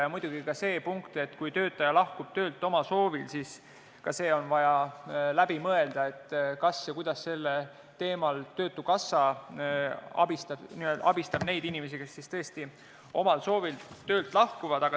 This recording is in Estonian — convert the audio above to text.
Ja muidugi on ka see punkt, et kui töötaja lahkub töölt oma soovil, vaja veel läbi mõelda, nimelt, kas ja kuidas sellel teemal töötukassa abistab neid inimesi, kes siis tõesti omal soovil töölt lahkuvad.